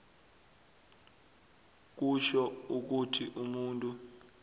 kutjho ukuthi umuntu